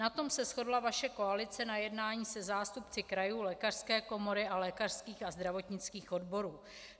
Na tom se shodla vaše koalice na jednání se zástupci krajů, lékařské komory a lékařských a zdravotnických odborů.